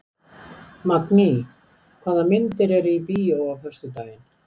Magný, hvaða myndir eru í bíó á föstudaginn?